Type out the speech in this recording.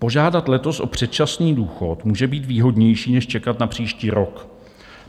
Požádat letos o předčasný důchod může být výhodnější než čekat na příští rok.